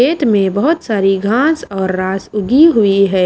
खेत में बहुत सारी घास और रास उगी हुई हैं।